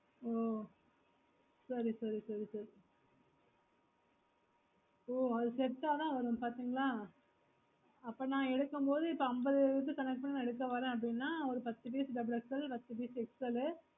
ஓ சேரி சேரி சேரி சேரி ஓ அது set ஆஹ் தான் வரும் பாத்தீங்கன்னா அப்போ ந எடுக்கும் மோடு அம்பது இருக்கு எடுக்க வர அப்புடின்னா ஒரு பத்து piece double XL பத்து piece xl